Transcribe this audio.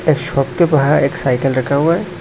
एक शॉप के बाहर एक साइकल रखा हुआ है।